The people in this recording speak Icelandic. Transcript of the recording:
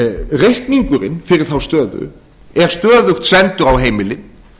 reikningurinn fyrir þá stöðu er stöðugt sendur á heimilin